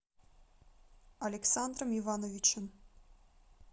александром ивановичем